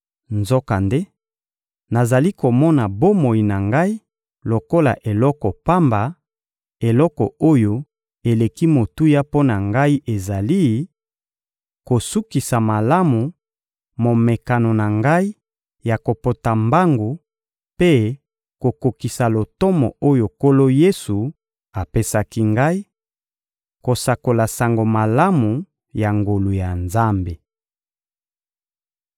Nzokande, nazali komona bomoi na ngai lokola eloko pamba; eloko oyo eleki motuya mpo na ngai ezali: kosukisa malamu momekano na ngai ya kopota mbangu mpe kokokisa lotomo oyo Nkolo Yesu apesaki ngai: kosakola Sango Malamu ya ngolu ya Nzambe.